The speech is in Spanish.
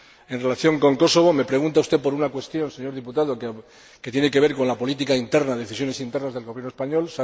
En relación con Kosovo, me pregunta usted por una cuestión, señor diputado, que tiene que ver con la política interna, con decisiones internas del Gobierno español.